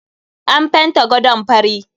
An fenta gadon fari.